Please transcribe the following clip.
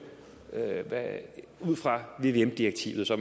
ud fra vvm direktivet så